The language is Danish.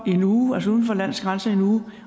i en uge